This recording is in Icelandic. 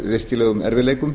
virkilegum erfiðleikum